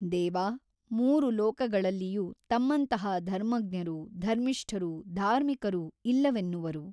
ದೇವಾ ಮೂರು ಲೋಕಗಳಲ್ಲಿಯೂ ತಮ್ಮಂತಹ ಧರ್ಮಜ್ಞರೂ ಧರ್ಮಿಷ್ಠರೂ ಧಾರ್ಮಿಕರೂ ಇಲ್ಲವೆನ್ನುವರು.